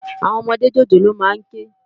Áwòn òmòdé jójólóò má n ké